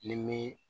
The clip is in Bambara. Ni mi